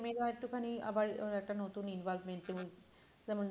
ছেলে মেয়েরা তাও একটুখানি আবার আহ একটা নতুন involvement এও যেমন